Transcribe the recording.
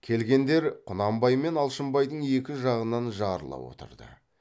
келгендер құнанбай мен алшынбайдың екі жағынан жарыла отырды